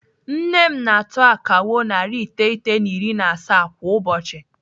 Nne m na-atụ akawo narị iteghete na iri na asaa kwa ụbọchị.